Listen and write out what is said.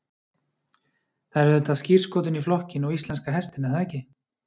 Það er auðvitað skírskotun í flokkinn og íslenska hestinn er það ekki?